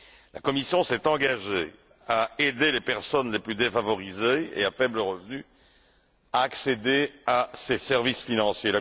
La Commission s'est engagée à aider les personnes les plus défavorisées et à faible revenu à accéder à ces services financiers.